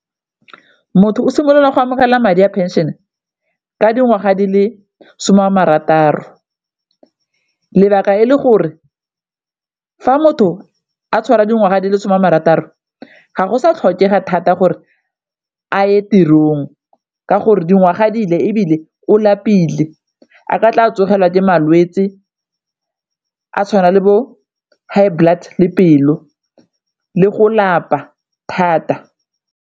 Motho o simolola go amogela madi a pension ka dingwaga di le some a marataro, lebaka e le gore fa motho a tshwara dingwaga di le some a marataro ga go sa tlhokega thata gore a ye tirong ka gore dingwaga dile, ebile o lapile a ka tla tsogelwa ke malwetse a tshwana le bo high blood le pelo le go lapa thata.